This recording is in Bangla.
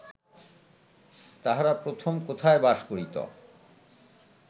তাহারা প্রথম কোথায় বাস করিত